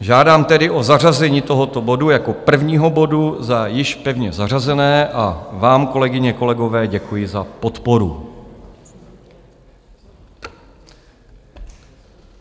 Žádám tedy o zařazení tohoto bodu jako prvního bodu za již pevně zařazené a vám, kolegyně, kolegové, děkuji za podporu.